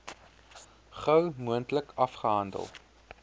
gou moontlik afgehandel